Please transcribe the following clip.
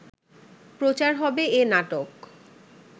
প্রচার হবে এ নাটক